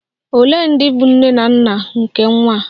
Ole ndị bụ nne na nna nke nwa a?